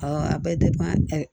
a bɛ